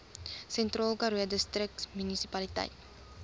sentraalkaroo distriksmunisipaliteit